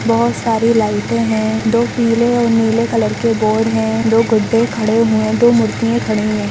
बहुत सारी लाइटें हैं दो पीले और नीले कलर के बोर्ड हैं दो गुड्डे खड़े हुए दो मूर्तियाँ खड़ी है।